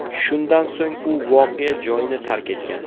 Shundan so‘ng u voqea joyini tark etgan.